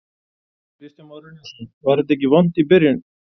Kristján Már Unnarsson: Var þetta ekki vont í byrjun?